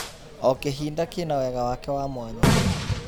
O kĩhinda kĩna wega wake wa mwanya.